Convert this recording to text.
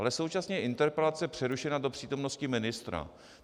Ale současně je interpelace přerušena do přítomnosti ministra.